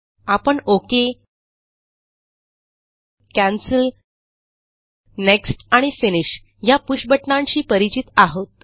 आपण okay cancel next आणि finish ह्या पुष बटणांशी परिचित आहोत